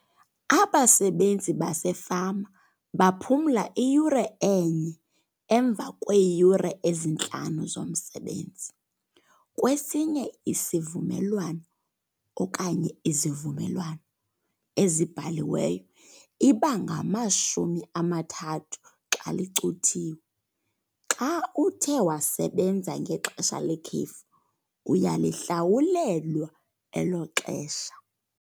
Abasebenzi basefama baphumla iyure enye emva kweeyure ezintlanu zomsebenzi. Kwesinye isivumelwano okanye izivumelwano ezibhaliweyo iba ngamashumi amathathu xa licuthiwe. Xa uthe wasebenza ngexesha lekhefu uyalihlawulelwa elo xesha.